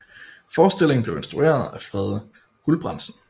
Forestillingen blev instrueret af Frede Gulbrandsen